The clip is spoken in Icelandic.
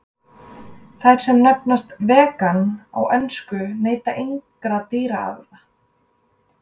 Þær sem nefnast vegan á ensku neyta engra dýraafurða.